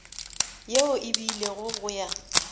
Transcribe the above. yeo e beilwego go ya